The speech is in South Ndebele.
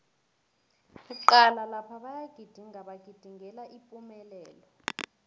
cala lapha bayagidinga bagidingela ipumelelo